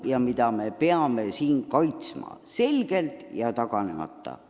Me peame neid väärtusi kaitsma visalt ja taganemata.